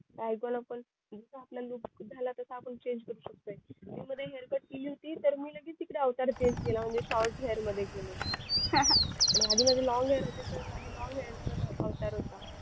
काही पण आपण आपला look झाला तसा आपण change करू शकतोय. मी मध्ये hair cut केली होती मी लगेच टिकळे अवतार change केला म्हणजे shot hair मध्ये केले आणि आधी माझे long hair होते तर आधी long hair चा अवतार होता